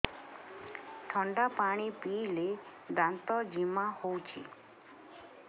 ଥଣ୍ଡା ପାଣି ପିଇଲେ ଦାନ୍ତ ଜିମା ହଉଚି